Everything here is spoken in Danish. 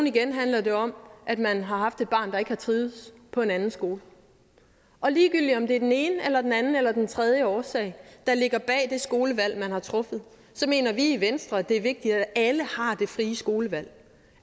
igen handler det om at man har haft et barn der ikke har trivedes på en anden skole og ligegyldig om det er den ene anden eller tredje årsag der ligger bag det skolevalg man har truffet mener vi i venstre at det er vigtigt at alle har det frie skolevalg